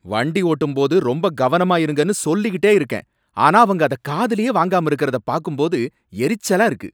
வண்டி ஓட்டும் போது ரொம்ப கவனமா இருங்கன்னு சொல்லிகிட்டே இருக்கேன், ஆனா அவங்க அதை காதுலயே வாங்காம இருக்குறத பாக்கும்போது, எரிச்சலா இருக்கு.